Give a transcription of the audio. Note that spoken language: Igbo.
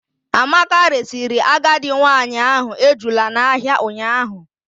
Amaka resiri agadi nwanyị ahụ ejula n'ahịa ụnyaahụ.